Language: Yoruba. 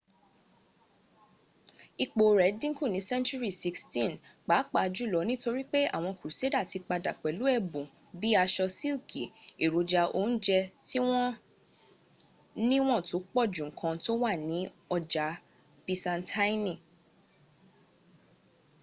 ipò rẹ̀ dïnkù ní senturi 16th pápá jùlo nítorí pé àwọn kruseda ti padà pẹ̀lú ẹ̀bùn bíi aṣọ síkì èròjà oúnjẹ́ tí wọ́n níwọ̀n tó pọ̀ ju nkan tó wà ní ọjà bisantaini